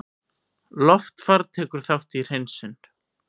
Loftfar tekur þátt í hreinsun